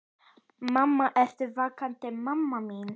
Mamma, ertu vakandi mamma mín?